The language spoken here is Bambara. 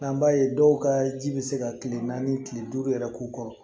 An b'a ye dɔw ka ji bɛ se ka kile naani kile duuru yɛrɛ k'u kɔrɔ